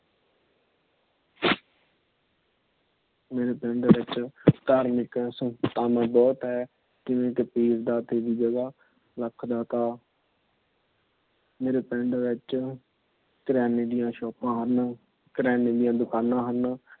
ਮੇਰੇ ਪਿੰਡ ਵਿੱਚ ਧਾਰਮਿਕ ਸੰਸਥਾਨ ਬਹੁਤ ਹੈ। ਪੀਰ, ਫ਼ਕੀਰ, ਦਾਤੇ ਦੀ ਜਗਹ, ਲੱਖ ਦਾਤਾ। ਮੇਰੇ ਪਿੰਡ ਵਿੱਚ ਕਿਰਿਆਨੇ ਦੀਆ ਸ਼ੋਪਾ ਹਨ। ਕਿਰਿਆਨੇ ਦੀਆ ਦੁਕਾਨਾਂ ਹਨ।